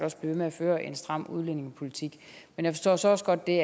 ved med at føre en stram udlændingepolitik men jeg forstår også også godt det